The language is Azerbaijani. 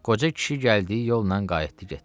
Qoca kişi gəldiyi yolla qayıtdı getdi.